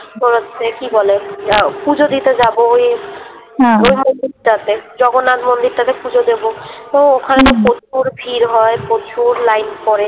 তো হচ্ছে কি বলে? আহ পুজো দিতে যাবো ওই হ্যাঁ ওই মন্দিরটাতে জগন্নাথ মন্দিরটাতে পুজো দেবো তো হুম ওখানে তো প্রচুর ভিড় হয় প্রচুর লাইন পরে